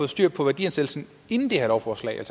styr på værdiansættelsen inden det her lovforslag